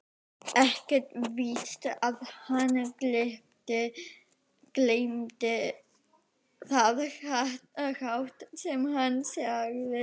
Ekkert víst að hann gleypti það hrátt sem hann segði.